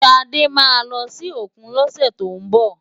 Ṣadé máa lọ sí òkun lọ́sẹ̀ tó ń bọ̀.